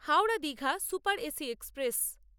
Howrah Digha super AC express